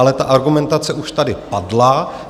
Ale ta argumentace už tady padla.